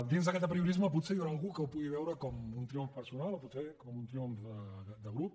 dins d’aquest apriorisme potser hi deu haver algú que ho pot veure com un triomf personal o potser com un triomf de grup